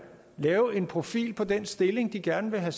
lave en profil på den stilling de gerne vil have